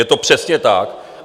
Je to přesně tak.